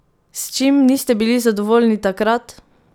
S čim niste bili zadovoljni takrat?